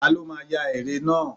Ta ló máa ya eré náà?